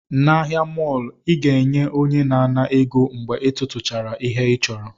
N'ahịa mọọlụ, ị ga-enye onye na-ana ego mgbe ị tụtụchara ihe ị chọrọ